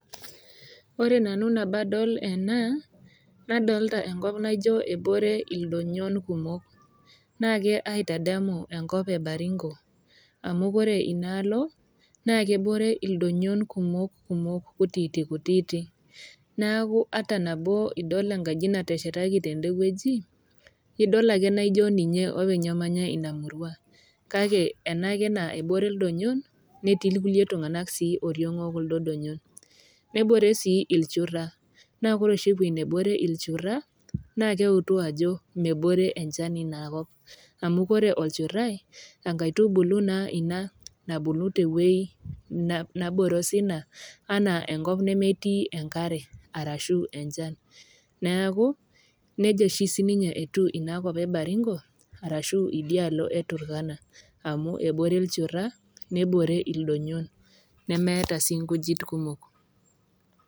Ore nanu nabo adol ena, naadolita enkop naijoiye ebore ildonyon kumok, naake aitadamu enkop e Baringo, amu ore inaalo naa kebore ildonyon kumok, kumok, kutiti kutiiti, neaku ata nabo idol enkaji nateshetaki tende wueji, idol ake nijo ninye openy namanya Ina murua, kake enaake nabore ildonyon netii ilkulie tung'anak sii oriong e kuldo donyon, nebore sii ilchura, naa ore oshi ewueji nebore ilchura, naa keutu ajo mebore enchan Ina kop, amu ore olchurai, enkaitubulu naa Ina naabulu tewueji nabore osina anaa enkop nemetii enkare, arashu enchan, neaku neija oshi etiu Ina kop e Baringo arashu idialo e Turkana amu ebore ilchura, nebore ildonyon nemeata sii inkujit kumok.